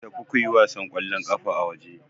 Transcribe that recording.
Ku tafi kuyi wasan ƙwallon ƙafa a waje.